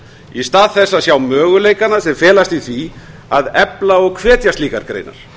í stað þess að sjá möguleikana sem felast í því að efla og hvetja slíkar greinar